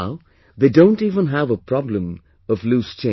Now they don't even have a problem of loose change